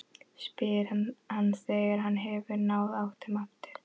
spyr hann þegar hann hefur náð áttum aftur.